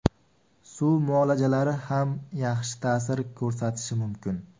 Suv muolajalari ham yaxshi ta’sir ko‘rsatishi mumkin.